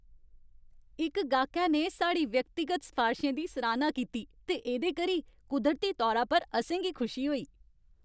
इक गाह्कै ने साढ़ी व्यक्तिगत सफारशें दी सराह्ता कीती ते एह्दे करी कुदरती तौरा पर असें गी खुशी होई।